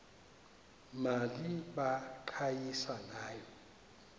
mali baqhayisa ngayo